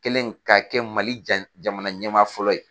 Kɛlen ka kɛ Mali ja jamana ɲɛmaa fɔlɔ ye